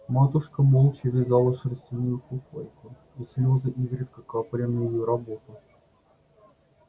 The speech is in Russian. матушка молча вязала шерстяную фуфайку и слёзы изредка капали на её работу